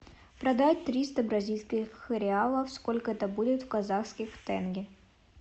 продать триста бразильских реалов сколько это будет в казахских тенге